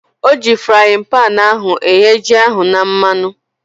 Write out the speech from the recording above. Oji fraaịn panu ahu eghe ji ahu na mmanụ